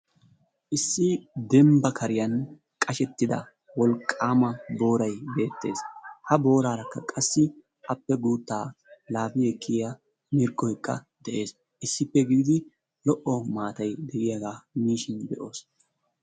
Issi dembba kariyan wolaqqama qashshettida booray beetees. Ha boorarakka qassi issi laafi ekkiya mirggoykka de'ees. Issippe gididi lo'o maattaay deiyaga miishin be'oos.